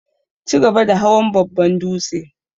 chigaba da hawan babban dūtse.